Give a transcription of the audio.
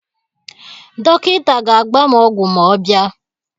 Dọkịta ga-agba m ọgwụ ma ọ bịa.